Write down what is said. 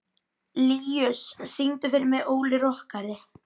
Líus, syngdu fyrir mig „Óli rokkari“.